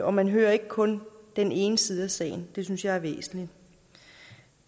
og man hører ikke kun den ene side af sagen det synes jeg er væsentligt